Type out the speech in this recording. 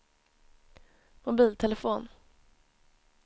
mobiltelefon